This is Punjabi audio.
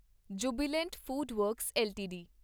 Jubilant FoodWorks LTD